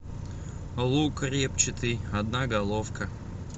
лук репчатый одна головка